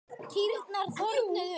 Kýrnar þornuðu upp.